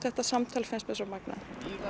þetta samtal finnst mér svo magnað